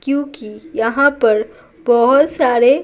क्योंकि यहाँ पर बहुत सारे--